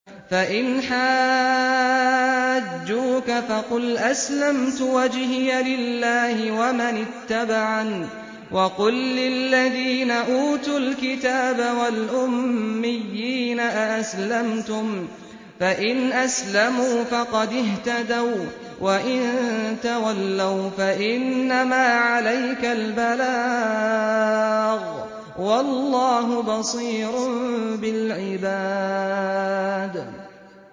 فَإِنْ حَاجُّوكَ فَقُلْ أَسْلَمْتُ وَجْهِيَ لِلَّهِ وَمَنِ اتَّبَعَنِ ۗ وَقُل لِّلَّذِينَ أُوتُوا الْكِتَابَ وَالْأُمِّيِّينَ أَأَسْلَمْتُمْ ۚ فَإِنْ أَسْلَمُوا فَقَدِ اهْتَدَوا ۖ وَّإِن تَوَلَّوْا فَإِنَّمَا عَلَيْكَ الْبَلَاغُ ۗ وَاللَّهُ بَصِيرٌ بِالْعِبَادِ